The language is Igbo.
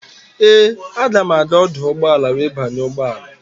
Ee, aga m aga ọdụ ụgbọala wee banye ụgbọala.